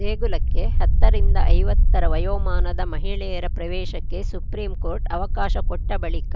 ದೇಗುಲಕ್ಕೆ ಹತ್ತರಿಂದ ಐವತ್ತ ರ ವಯೋಮಾನದ ಮಹಿಳೆಯರ ಪ್ರವೇಶಕ್ಕೆ ಸುಪ್ರೀಂಕೋರ್ಟ್‌ ಅವಕಾಶ ಕೊಟ್ಟಬಳಿಕ